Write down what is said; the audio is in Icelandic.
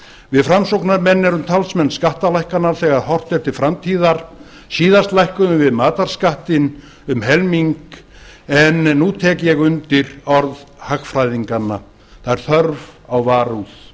við framsóknarmenn erum talsmenn skattalækkana þegar horft er til framtíðar síðast lækkuðum við matarskattinn um helming en nú tek ég undir orð hagfræðinganna það er þörf á varúð